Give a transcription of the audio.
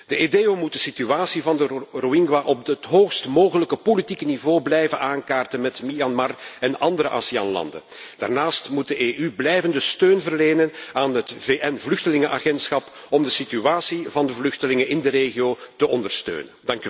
De EDEO moet de situatie van de Rohingya op het hoogst mogelijke politieke niveau blijven aankaarten bij Myanmar en andere ASEAN landen. Daarnaast moet de EU blijvende steun verlenen aan het VN vluchtenlingenagentschap om de situatie van de vluchtelingen in de regio te ondersteunen.